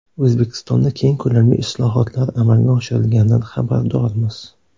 O‘zbekistonda keng ko‘lamli islohotlar amalga oshirilganidan xabardormiz.